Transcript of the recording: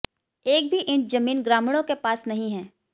एक भी इंच जमीन ग्रामीणों के पास नहीं है